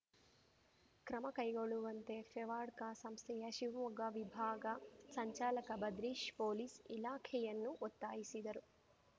ಕ್ರಮ ಕೈಗೊಳ್ಳುವಂತೆ ಫೆವಾರ್ಡ್ಕ ಸಂಸ್ಥೆಯ ಶಿವಮೊಗ್ಗ ವಿಭಾಗ ಸಂಚಾಲಕ ಭದ್ರೀಶ್‌ ಪೊಲೀಸ್‌ ಇಲಾಖೆಯನ್ನು ಒತ್ತಾಯಿಸಿದರು